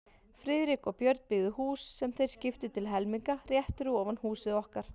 Friðrik og Björn, byggðu hús, sem þeir skiptu til helminga, rétt fyrir ofan húsið okkar.